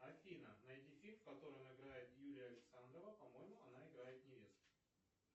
афина найди фильм в котором играет юлия александрова по моему она играет невесту